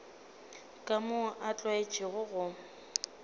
ka moo a tlwaetšego go